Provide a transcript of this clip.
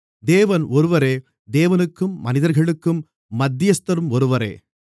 தேவன் ஒருவரே தேவனுக்கும் மனிதர்களுக்கும் மத்தியஸ்தரும் ஒருவரே